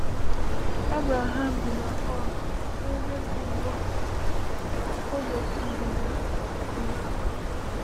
Abraham bi na Ur, n’ebe bụ ugbu a ógbè ndịda Iraq.